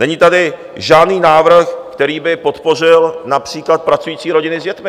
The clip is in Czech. Není tady žádný návrh, který by podpořil například pracující rodiny s dětmi.